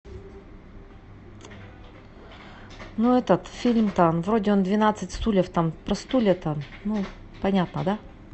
ну этот фильм там вроде он двенадцать стульев там про стулья там ну понятно да